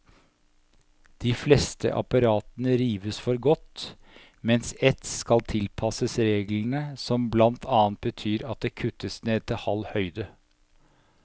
De fleste apparatene rives for godt, mens ett skal tilpasses reglene, som blant annet betyr at det kuttes ned til halv høyde.